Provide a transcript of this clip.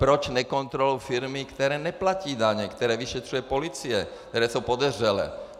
Proč nekontrolují firmy, které neplatí daně, které vyšetřuje policie, které jsou podezřelé?